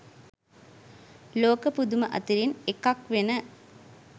ලෝක පුදුම අතරින් එකක්වෙන